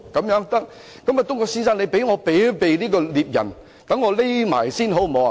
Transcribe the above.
狼說："東郭先生，請你幫我避開獵人，讓我躲藏起來，好嗎？